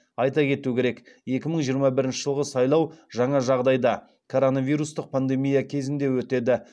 айта кету керек екі мың жиырма бірінші жылғы сайлау жаңа жағдайда коронавирустық пандемия кезінде өтеді